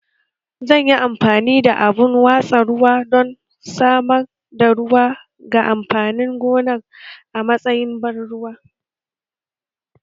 Zan yi amfani da abun watsa ruwa don samar da ruwa ga amfanin gonar a matsayin ban ruwa